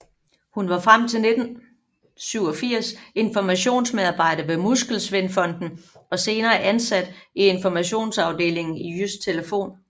Hun var frem til 1987 informationsmedarbejder ved Muskelsvindfonden og senere ansat i informationsafdelingen i Jydsk Telefon